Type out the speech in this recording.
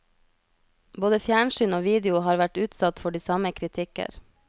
Både fjernsyn og video har vært utsatt for de samme kritikker.